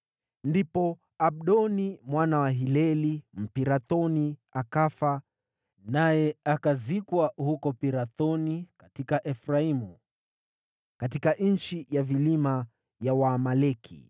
Ndipo Abdoni mwana wa Hileli, Mpirathoni, akafa, naye akazikwa huko Pirathoni katika Efraimu, katika nchi ya vilima ya Waamaleki.